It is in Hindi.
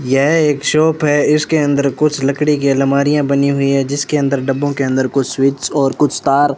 यह एक शॉप है इसके अंदर कुछ लकड़ी की अलमारियां बनी हुई हैं जिसके अंदर डब्बों के अंदर कुछ स्विच और कुछ तार --